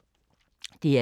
DR2